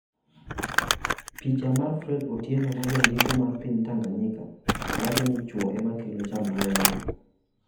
Picha mar Fred Otienoe ma Jandiko mar piny Tanzania wacho ni chwo e makelo chandruogego?